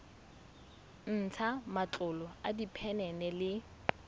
ntsha matlolo a diphenene le